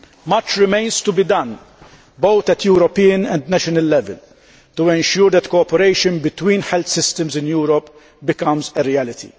Much remains to be done, both at European and national level, to ensure that cooperation between health systems in Europe becomes a reality.